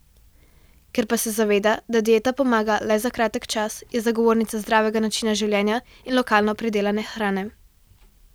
Ker pa se zaveda, da dieta pomaga le za kratek čas, je zagovornica zdravega načina življenja in lokalno pridelane hrane.